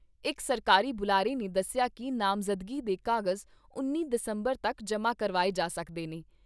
ਇਕ ਸਰਕਾਰੀ ਬੁਲਾਰੇ ਨੇ ਦੱਸਿਆ ਕਿ ਨਾਮਜ਼ਦਗੀ ਦੇ ਕਾਗਜ਼ ਉੱਨੀ ਦਸੰਬਰ ਤੱਕ ਜਮਾਂ ਕਰਵਾਏ ਜਾ ਸਕਦੇ ਨੇ।